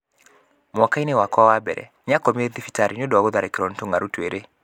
Mwaka-inĩ wakwa wa mbere, nĩ akomire thibitarĩ nĩ ũndũ wa gũtharĩkĩrũo nĩ tũng'aurũ twĩrĩ.